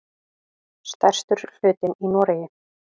Stærstur hlutinn í Noregi.